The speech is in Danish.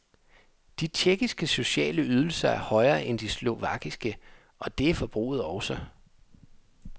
De tjekkiske sociale ydelser er højere end de slovakiske, og det er forbruget også.